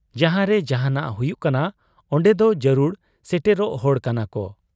ᱡᱟᱦᱟᱸᱨᱮ ᱡᱟᱦᱟᱱᱟᱜ ᱦᱩᱭᱩᱜ ᱠᱟᱱᱟ ᱚᱱᱰᱮᱫᱚ ᱡᱟᱹᱨᱩᱲ ᱥᱮᱴᱮᱨᱚᱜ ᱦᱚᱲ ᱠᱟᱱᱟᱠᱚ ᱾